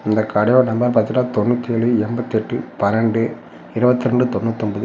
இந்த கடையோட நம்பர் பாத்தீங்னா தொன்னூத்தி ஏழு எம்பத்தி எட்டு பன்னண்டு இருவத்தி ரெண்டு தொன்னூத்தி ஒன்பது.